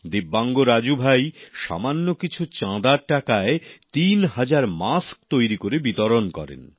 ভিন্নভাবে সক্ষম রাজুভাই সামান্য কিছু চাঁদার টাকায় তিন হাজার মাস্ক তৈরি করে বিতরণ করেন